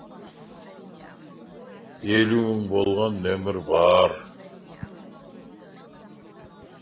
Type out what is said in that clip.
елу мың болған нөмір бар